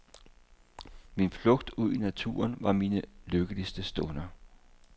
Min flugt ud i naturen var mine lykkeligste stunder.